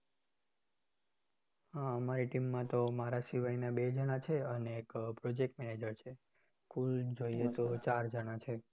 હા અમારી team માં તો મારા શિવાયના બે જણા છે અને એક project manager છે કુલ જોઈએ તો ચાર જણા છે